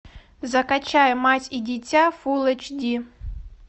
закачай мать и дитя фул эйч ди